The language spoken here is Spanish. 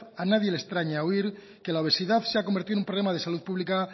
a nadie le extraña oír que la obesidad se ha convertido en un problema de salud pública